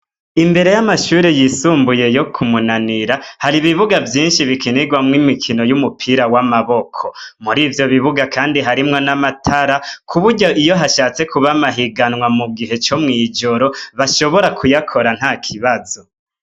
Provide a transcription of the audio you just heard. Imbere y'amashuri yisumbuye yo kumunanira hari ibibuga vyinshi bikinirwamwo imikino y'umupira w'amaboko muri ivyo bibuga, kandi harimwo n'amatara kuburyo iyo hashatse kubamahiganwa mu gihe co mw'ijoro bashobora kuyakora nta kibazo.